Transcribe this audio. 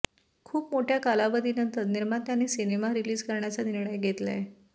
खूप मोठ्या कालावधीनंतर निर्मात्यांनी सिनेमा रिलीज करण्याचा निर्णय घेतलाय